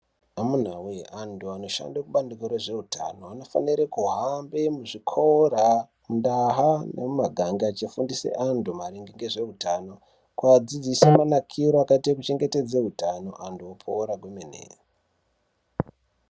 Amunawe antu anoshanda kubandiko rezveutano vanofanire kuhamba muzvikora, ndaha nemumaganga echifunduse antu maringe nezveutano. Kuadzidzise manakiro akaita utano antu opora kwemene.